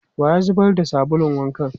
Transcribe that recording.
Wa ya zubar da sabulun wankan?